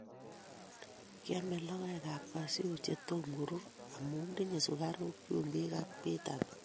Kiame logoek ap kasyu che tom korur amu tinye sukaruk, chumbik ak vitamins